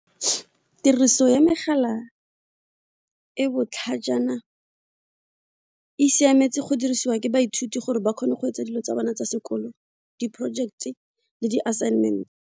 Tiriso ya megala e botlhajana e siametse go dirisiwa ke baithuti gore ba kgone go etsa dilo tsa bana tsa sekolo di-project e le di-assignment.